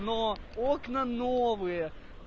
но окна новые